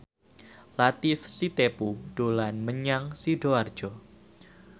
Latief Sitepu dolan menyang Sidoarjo